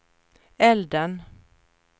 elden